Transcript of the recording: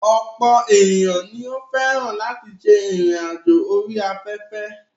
Ọ̀pọ̀ ènìyàn ni ó fẹ́ràn láti ṣe ìrìn àjò orí afẹ́fẹ́.